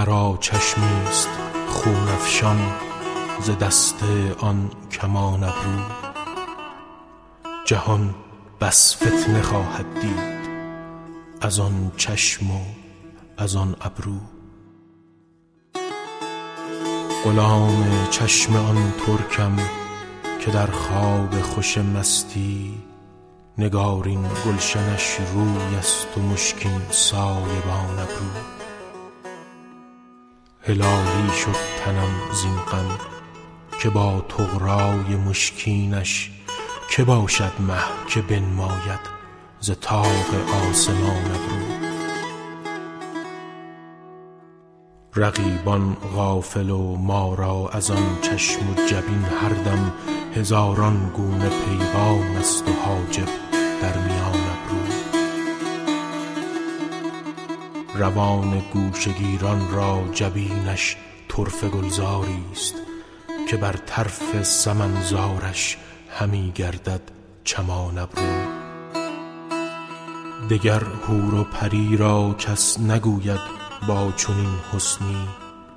مرا چشمی ست خون افشان ز دست آن کمان ابرو جهان بس فتنه خواهد دید از آن چشم و از آن ابرو غلام چشم آن ترکم که در خواب خوش مستی نگارین گلشنش روی است و مشکین سایبان ابرو هلالی شد تنم زین غم که با طغرا ی ابرو یش که باشد مه که بنماید ز طاق آسمان ابرو رقیبان غافل و ما را از آن چشم و جبین هر دم هزاران گونه پیغام است و حاجب در میان ابرو روان گوشه گیران را جبینش طرفه گلزار ی ست که بر طرف سمن زارش همی گردد چمان ابرو دگر حور و پری را کس نگوید با چنین حسنی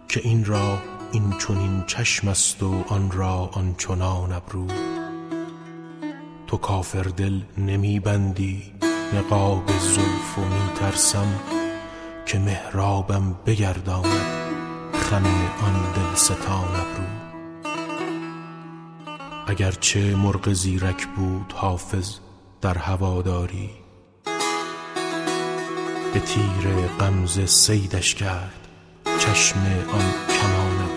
که این را این چنین چشم است و آن را آن چنان ابرو تو کافر دل نمی بندی نقاب زلف و می ترسم که محرابم بگرداند خم آن دل ستان ابرو اگر چه مرغ زیرک بود حافظ در هوادار ی به تیر غمزه صیدش کرد چشم آن کمان ابرو